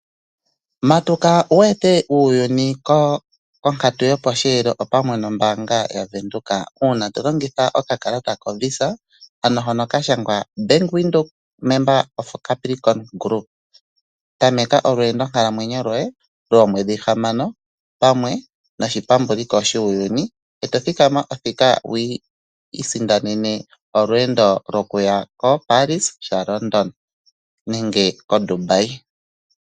Matuka wu ete uuyuni ko konkatu yoposheelo, opamwe nombaanga yaVenduka uuna to longitha okakalata koVisa ano hono ka shangwa Bank Windhoek Member of Capricorn Group. Tameka olweendo nkalamwenyo lwoye lwoomwedhi hamano opamwe noshipambuliko shuuyuni, e to thikama othika wu isindanene olweendo lwokuya koParis shaLondon nenge koDubai.